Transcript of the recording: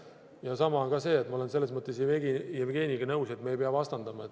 Ja samas on ka see – ma olen selles mõttes Jevgeniga nõus –, et me ei pea vastandama.